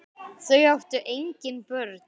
Þau áttu engin börn.